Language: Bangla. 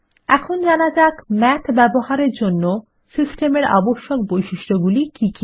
এখন জানা যাক মাথ ব্যবহার এর জন্য সিস্টেমের আবশ্যক বৈশিষ্ট্যগুলি কি কি